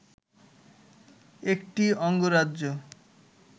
একটি অঙ্গরাজ্য